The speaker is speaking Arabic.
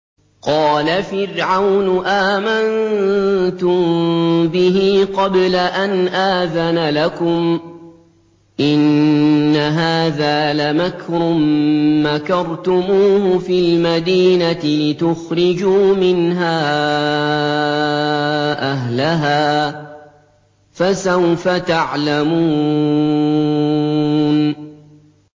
قَالَ فِرْعَوْنُ آمَنتُم بِهِ قَبْلَ أَنْ آذَنَ لَكُمْ ۖ إِنَّ هَٰذَا لَمَكْرٌ مَّكَرْتُمُوهُ فِي الْمَدِينَةِ لِتُخْرِجُوا مِنْهَا أَهْلَهَا ۖ فَسَوْفَ تَعْلَمُونَ